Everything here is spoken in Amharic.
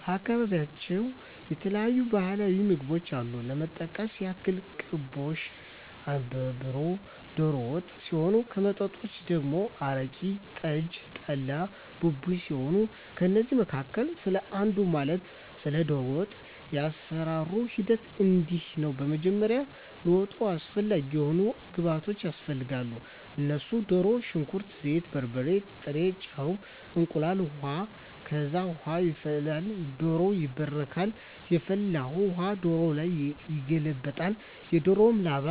በአካባቢያቸው የተለያዩ ባህላዊ ምግቦች አሉ ለመጥቀስ ያክል ቅቦሽ፣ አነባበሮ፣ ዶሮ ወጥ ሲሆን ከመጠጦች ደግሞ አረቂ፣ ጠጅ፣ ጠላ፣ ቡቡኝ ሲሆኑ ከእነዚህ መካከል ስለ አንዱ ማለትም ስለ ዶሮ ወጥ የአሰራሩ ሂደት እንዲህ ነው በመጀመሪያ ለወጡ አስፈላጊ የሆኑ ግብዓቶች ያስፈልጋሉ እነሱም ድሮ፣ ሽንኩርት፣ ዘይት፣ በርበሬ፣ ጥሬ ጨው፣ እንቁላል፣ ውሀ፣ ከዛ ውሃ ይፈላል ዶሮው ይባረካል የፈላውን ውሀ ዶሮው ላይ ይገለበጣል እና የዶሮውን ላባ